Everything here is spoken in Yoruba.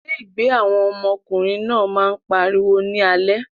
Ilégbèé àwọn ọmọkùnrin náà máa ń pariwo ní alẹ́.